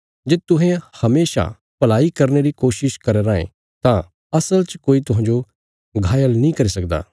जे तुहें हमेशा भलाई करने री कोशिश करया राँये तां असल च कोई तुहांजो घायल नीं करी सकदा